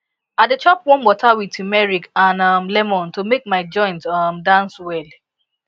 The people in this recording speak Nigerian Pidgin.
i dey chop warm water with turmeric and um lemon to make my joints um dance well